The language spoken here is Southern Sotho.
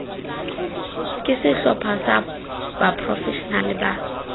ke sehlopha sa baprofeshenale ba